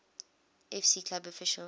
fc club official